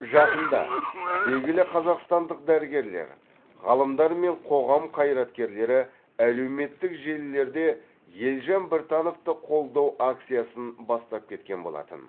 жақында белгілі қазақстандық дәрігерлер ғалымдар мен қоғам қайраткерлері әлеуметтік желілерде елжан біртановты қолдау акциясын бастап кеткен болатын